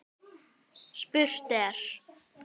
Spurt er?